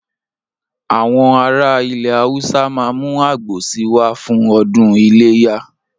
Àwọn ará ilẹ̀ Haúsá ma mú àgbò si wá fún ọdún iléyà